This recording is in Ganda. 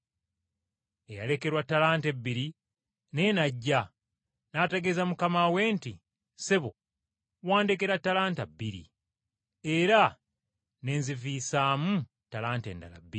“Eyalekerwa ttalanta ebiri naye n’ajja, n’ategeeza mukama we nti, ‘Ssebo, wandekera ttalanta bbiri, era ne nziviisaamu ttalanta endala bbiri.’